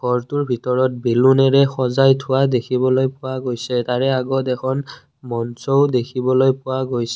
ঘৰটোৰ ভিতৰত বেলুনেৰে সজাই থোৱা দেখিবলৈ পোৱা গৈছে তাৰে আগত এখন মঞ্চও দেখিবলৈ পোৱা গৈছে।